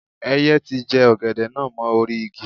Ẹyẹ ti jẹ ọ̀gẹ̀dẹ̀ náà mọ́ orí-igi.